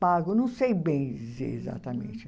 pago, não sei bem dizer exatamente.